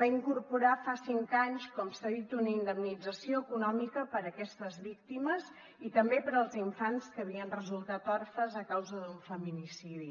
va incorporar fa cinc anys com s’ha dit una indemnització econòmica per a aquestes víctimes i també per als infants que havien resultat orfes a causa d’un feminicidi